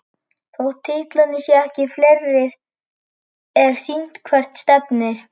Þótt titlarnir séu ekki fleiri er sýnt hvert stefnir.